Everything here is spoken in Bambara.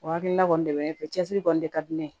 O hakilina kɔni de bɛ ne fɛ cɛsiri kɔni de ka di ne ye